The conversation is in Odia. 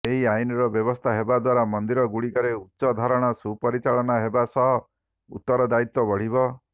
ଏହି ଆଇନର ବ୍ୟବସ୍ଥା ହେବା ଦ୍ୱାରା ମନ୍ଦିର ଗୁଡ଼ିକରେ ଉଚ୍ଚଧରଣ ସୁପରିଚାଳନା ହେବା ସହ ଉତରଦାୟିତ୍ୱ ବଢିବ